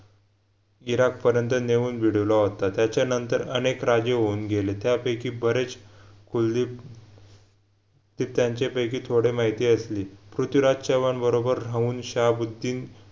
Iraq पर्यंत नेऊन भिडविला होता त्याच्या नंतर अनेक राजे होऊन गेले त्यापैकी बरेच कुलदीप ते त्यांचेपैकी थोडी माहिती असली पृथ्वीराज चव्हाणबरोबर ऱ्हाऊन शाहबुद्द्दीन